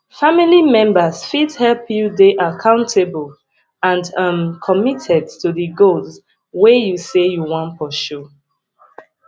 family members fit help you dey accountable and um committed to di goals wey you sey you wan pursue